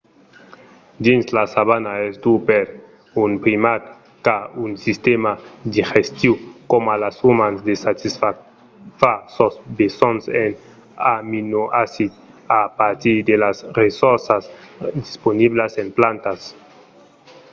dins la savana es dur per un primat qu'a un sistèma digestiu coma los umans de satisfar sos besonhs en aminoacids a partir de las ressorças disponiblas en plantas